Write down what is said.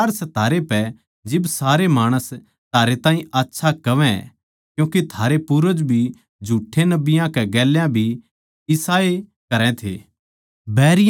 धिक्कार सै थारै पै जिब सारे माणस थारै ताहीं आच्छा कहवै क्यूँके थारे पूर्वज भी झूठ्ठे नबियाँ कै गेल्या भी इसाए करै थे